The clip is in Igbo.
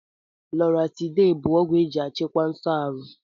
Loratiday bụ ọgwụ eji achịkwa nso aru